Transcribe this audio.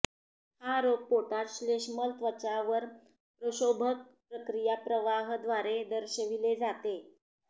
हा रोग पोटात श्लेष्मल त्वचा वर प्रक्षोभक प्रक्रिया प्रवाह द्वारे दर्शविले जाते